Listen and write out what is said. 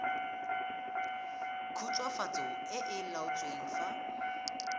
khutswafatso e e laotsweng fa